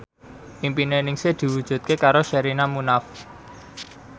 impine Ningsih diwujudke karo Sherina Munaf